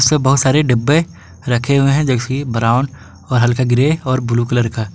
सब बहुत सारे डब्बे रखे हुए हैं जैसी की ब्राउन हल्का ग्रे और ब्लू कलर का।